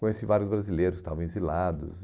Conheci vários brasileiros que estavam exilados.